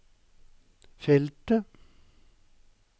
feltet